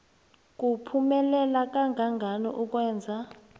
kuphumelela kangangani ukwenza